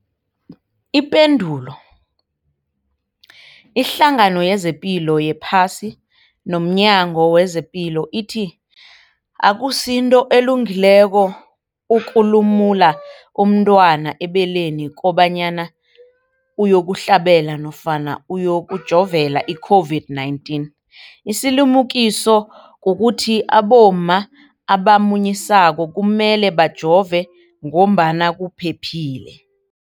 Ipendulo, iHlangano yezePilo yePhasi nomNyango wezePilo ithi akusinto elungileko ukulumula umntwana ebeleni kobanyana uyokuhlabela nofana uyokujovela i-COVID-19. Isilimukiso kukuthi abomma abamunyisako kumele bajove ngoba kuphephile.